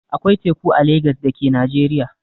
Akwai teku a Legas da ke Najeriya.